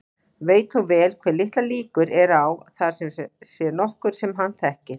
Veit þó vel hve litlar líkur eru á að þar sé nokkur sem hann þekkir.